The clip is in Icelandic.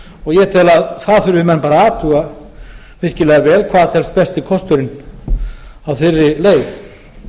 og ég tel að það þurfi menn bara að athuga virkilega vel hvað telst besti kosturinn á þeirri leið